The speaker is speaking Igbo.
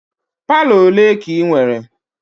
Palọ ole ka ị nwere?